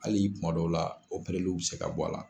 Hali'i kuma dɔw la o pereliw bɛ se ka bɔ a la.